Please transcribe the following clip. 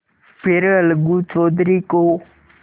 फिर अलगू चौधरी को